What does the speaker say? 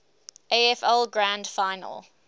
afl grand final